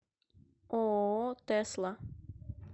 ооо тесла